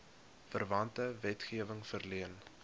verwante wetgewing verleen